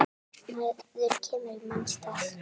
Maður kemur í manns stað.